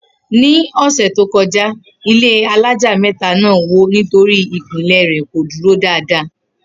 Ni ò̩sè̩ tó ko̩já, ilé alája mé̩ta náà wó nítorí ìpìnlè̩ rè̩ kò dúró dáadáa